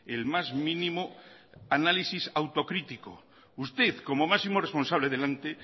el más mínimo análisis autocrítico usted como máximo responsable del ente